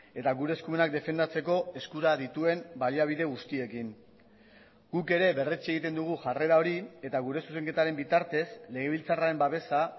eta gure eskumenak defendatzeko eskura dituen baliabide guztiekin guk ere berretsi egiten dugu jarrera hori eta gure zuzenketaren bitartez legebiltzarraren babesa